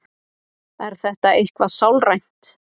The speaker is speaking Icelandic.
Er þetta eitthvað sálrænt?